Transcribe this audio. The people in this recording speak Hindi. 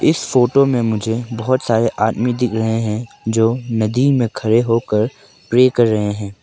इस फोटो में मुझे बहुत सारे आदमी दिख रहे हैं जो नदी में खड़े होकर प्रे कर रहे हैं।